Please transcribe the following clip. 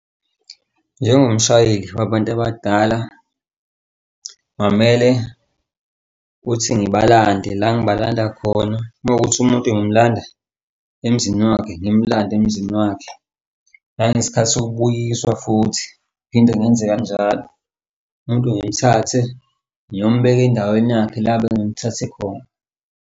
Njengomshayeli wabantu abadala, kwamele ukuthi ngibalande la ngabalanda khona, uma wukuthi umuntu ngimlanda emzini wakhe, ngimulande emzini wakhe. Nangesikhathi sokubuyiswa futhi phinde ngenze kanjalo umuntu ngimthathe ngiyombheka endaweni yakhe la bengimthathe khona.